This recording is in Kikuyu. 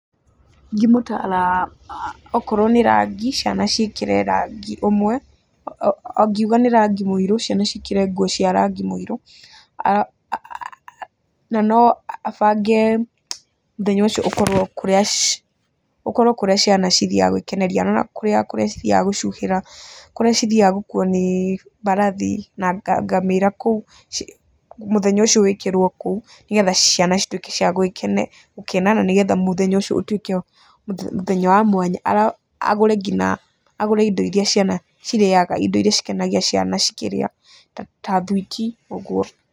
Ingĩmũtara okorwo nĩ rangi ciana ciĩkĩre rangi ũmwe, angiuga nĩ rangi mũirũ, ciana ciĩkĩre nguo cia rangi mũirũ. Na no abange mũthenya ũcio ũkorwo kũrĩa ciana cithiaga gũikeneria, na no kũrĩa cithiaga gũcuhĩra, kũrĩa cithiaga gũkuo nĩ mbarathi na ngamĩra kũu, mũthenya ũcio wĩkĩrwo kũu, nĩgetha ciana cituĩke cia gũkena na nĩgetha mũthenya ũcio ũtuĩke mũthenya wa mwanya, agũre nginya indo iria ciana cirĩaga, indo iria cikenagia ciana cikĩrĩa ta thuiti ũguo.